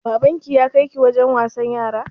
Baban ki ya kai ki wajen wasan yara?